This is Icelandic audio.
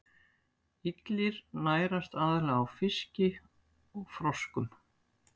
Illir nærast aðallega á fiski og froskum.